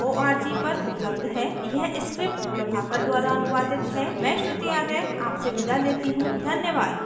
यह स्क्रिप्ट प्रभाकर द्वारा अनुवादित है मैं श्रुति आर्य आपसे विदा लेती हूँ धन्यवाद